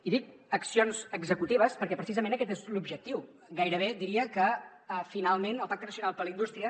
i dic accions executives perquè precisament aquest és l’objectiu gairebé diria que finalment el pacte nacional per la indústria